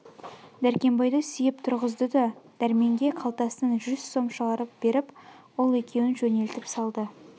дәркембайды сүйеп тұрғызды да дәрменге қалтасынан жүз сом шығарып беріп ол екеуін жөнелтіп салды